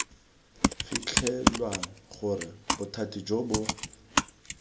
fitlhelwang gore bothati jo bo